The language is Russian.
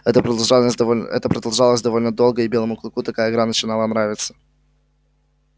это продолжалось довольно это продолжалось довольно долго и белому клыку такая игра начинала нравиться